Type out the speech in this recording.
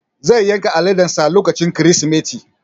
Zai yanka aladen sa lokacin Kirsimeti